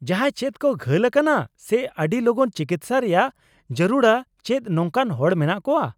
-ᱡᱟᱦᱟᱸᱭ ᱪᱮᱫ ᱠᱚ ᱜᱷᱟᱹᱞ ᱟᱠᱟᱱᱟ ᱥᱮ ᱟᱹᱰᱤ ᱞᱚᱜᱚᱱ ᱪᱤᱠᱤᱥᱥᱟ ᱨᱮᱭᱟᱜ ᱡᱟᱹᱨᱩᱲᱟ ᱪᱮᱫ ᱱᱚᱝᱠᱟᱱ ᱦᱚᱲ ᱢᱮᱱᱟᱜ ᱠᱚᱣᱟ ?